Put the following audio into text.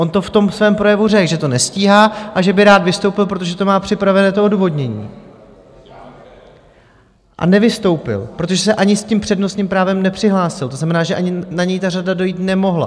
On to v tom svém projevu řekl, že to nestíhá a že by rád vystoupil, protože to má připravené, to odůvodnění, a nevystoupil, protože se ani s tím přednostním právem nepřihlásil, to znamená, že ani na něj ta řada dojít nemohla.